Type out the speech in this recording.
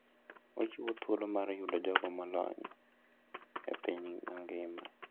Ochiwo thuolo mar yudo jogo molony e piny mangima.